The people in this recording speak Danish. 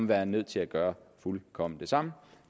være nødt til at gøre fuldkommen det samme